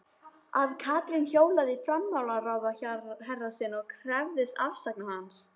Að Katrín hjólaði í fjármálaráðherrann sinn og krefðist afsagnar hans?